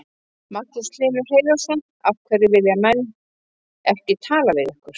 Magnús Hlynur Hreiðarsson: Af hverju vilja menn ekki tala við ykkur?